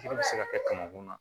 Joli bɛ se ka kɛ kamankun na